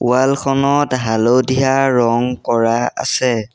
Wall খনত হালধীয়া ৰং কৰা আছে।